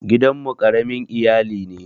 Gidan mu ƙaramin iyali ne.